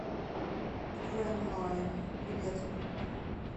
грэнд лайн билет